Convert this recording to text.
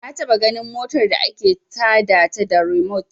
Na taɓa ganin motar da ake ta da ta da rimot